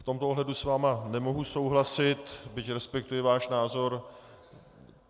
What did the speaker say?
V tomto ohledu s vámi nemohu souhlasit, byť respektuji váš názor.